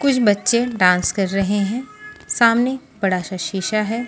कुछ बच्चे डांस कर रहे हैं सामने बड़ा सा शीशा है।